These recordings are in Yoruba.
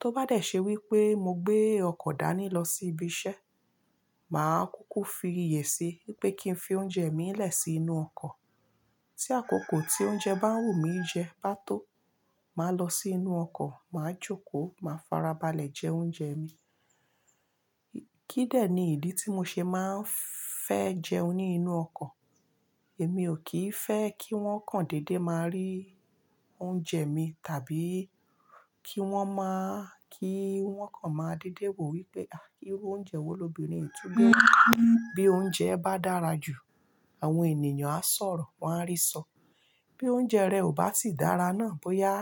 Tó bá dẹ̀ ṣe wípé mo gbé ọkọ̀ dání lọ sí ibi iṣẹ́, màá kúkú fi iyè si wípé kí n fi oúnjẹ mi lẹ̀ sí inú ọkọ̀. Tí àkókò tí oúnjẹ bá wù mí jẹ bá tó, màá lọ sí inú ọkọ̀, màá jókòó, màá farabalẹ̀ jẹ oúnjẹ mi. Kídẹ̀ ni ìdí tí mo ṣe máa ń fẹ́ jẹun ní inú ọkọ̀. Èmi ò kí ń fẹ́ kí wọ́n kan dédé máa rí oúnjẹ mi tàbí kí wọ́n má kí wọ́n kan máa dédé wò wípé, "Àh iru oúnjẹ wo lóbìnrin yìí tún gbe wa Bí oúnjẹ bá dára jù, àwọn ènìyàn á sọ̀rọ̀, wọ́n á rí sọ. Bí oúnjẹ rẹ ò bá sì dára náà, bóyá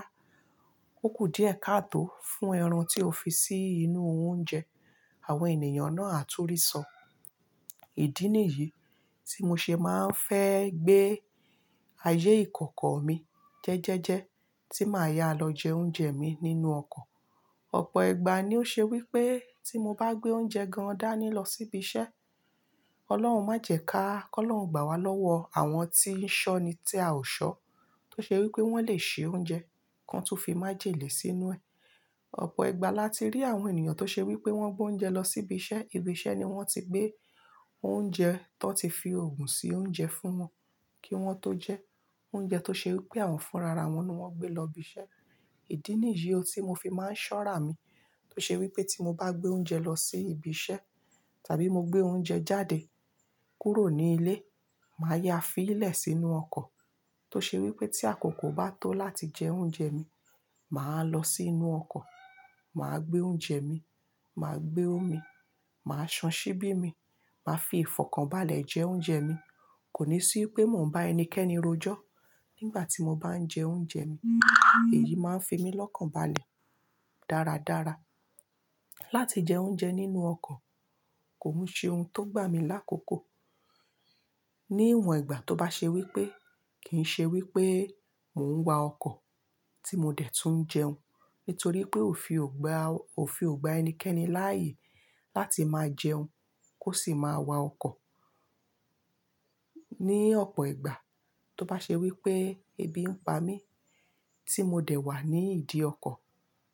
ó kù díẹ̀ ká tó fún ẹran tí o fi sí inú oúnjẹ, àwọn ènìyàn náà á tún rí sọ. Ìdí nìyí tí mo ṣe máa ń fẹ́ gbé ayé ìkọ̀kọ̀ mi jẹ́jẹ́jẹ́ tí màá ya lọ jẹ oúnjẹ mi nínú ọkọ̀. Ọ̀pọ̀ ìgbà ni ó ṣe wípé tí mo bá gbé oúnjẹ gan dání lọ sí ibi iṣẹ́, Ọlọ́run má jẹ̀ ka, kó lọ̀ún gbà wá lọ́wọ́ àwọn tí ń ṣọ́ni tí a ò ṣọ tó ṣe wípé wọ́n lè ṣe oúnjẹ kan tó fi májèlé sínú ẹ. Ọ̀pọ̀ ìgbà láti rí àwọn ènìyàn tó ṣe wípé wọ́n gbé oúnjẹ lọ sí ibi iṣẹ́, ibi iṣẹ́ ni wọ́n ti gbé oúnjẹ tó ti fi ògùn sí oúnjẹ fún wọn kí wọ́n tó jẹ. Oúnjẹ tó ṣe wípé àwọn fún rara wọn ni wọ́n gbé lọ ibi iṣẹ́. Ìdí nìyí tí mo fi máa ń ṣọ́rà mí tó ṣe wípé tí mo bá gbé oúnjẹ lọ sí ibi iṣẹ́ tàbí mo gbé oúnjẹ jáde kúrò ní ilé, màá ya á fi í lẹ̀ sínú ọkọ̀ tó ṣe wípé tí àkókò bá tó láti jẹ oúnjẹ mi, màá lọ sí inú ọkọ̀, màá gbé oúnjẹ mi, màá gbé omi, màá san síbí mi, màá fi ìfọ̀kànbalẹ̀ jẹ oúnjẹ mi. Kò ní sí pé mò ń bá ẹnikẹ́ni rojọ́ nígbà tí mo bá ń jẹ oúnjẹ mi. Èyí máa ń fi mí lọ́kànbalẹ̀ dáradára. Láti jẹ oúnjẹ nínú ọkọ̀ kò ń ṣe ohun tó gbà mí lákòókò. Ní ìwọ̀n ìgbà tó bá ṣe wípé, kì ń ṣe wípé mò ń wa ọkọ̀ tí mo dẹ̀ tún jẹun. Nítorí pé ò fi ògbá, ò fi ògbá ẹnikẹ́ni láyè láti máa jẹun ki o sì máa wa ọkọ̀. Ní ọ̀pọ̀ ìgbà tó bá ṣe wípé ebi ń pa mí tí mo dẹ̀ wà ní ìdí ọkọ̀,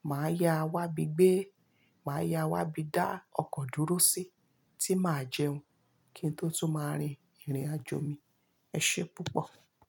màá ya á wá bi gbe, màá ya á wá bíi dá ọkọ̀ dúró sí tí màá jẹun kí n tó tún máa rin ìrìnàjò mi. Ẹ ṣe púpọ̀.